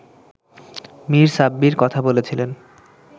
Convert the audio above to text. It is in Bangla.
মির সাব্বির কথা বলেছিলেন